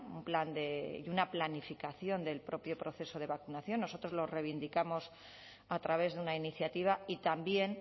un plan y una planificación del propio proceso de vacunación nosotros lo reivindicamos a través de una iniciativa y también